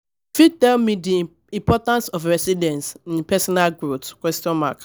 you fit tell me di importance of resilience in personal growth?